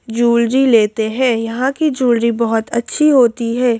Jewellery लेते हैं यहां की जूलरी बहुत अच्छी होती है।